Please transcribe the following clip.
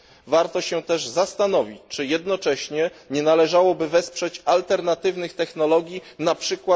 Warto się też zastanowić, czy jednocześnie nie należałoby wesprzeć alternatywnych technologii, np.